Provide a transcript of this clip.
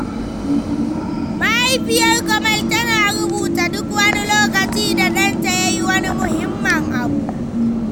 Mahaifiyar Kamal tana rubuta duk wani lokaci da ɗanta ya yi wani muhimmin abu